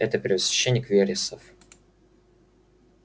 это первосвященник вересов